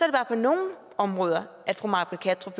det bare på nogle områder at fru may britt kattrup